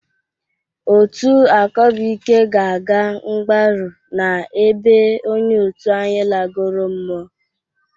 Otu akọbụike ga-aga mgbaru n'ebe onye otu anyị lagoro mmụọ